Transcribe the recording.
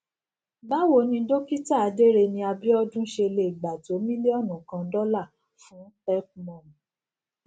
báwo ni dókítà adéreni abíódún ṣe lè gba tó miliọnu kan dọlà fún helpmum